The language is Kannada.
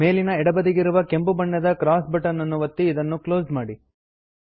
ಮೇಲಿನ ಎಡಬದಿಗಿರುವ ಕೆಂಪು ಬಣ್ಣದ ಕ್ರಾಸ್ ಬಟನ್ ಅನ್ನು ಒತ್ತಿ ಅದನ್ನು ಕ್ಲೋಸ್ ಮಾಡಿ